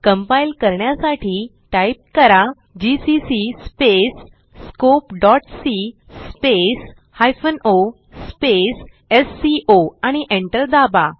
compile करण्यासाठी type करा GCC scopeसी o एससीओ आणि एंटर दाबा